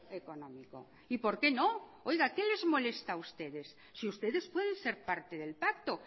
económico y por qué no oiga qué les molesta a ustedes si ustedes pueden ser parte del pacto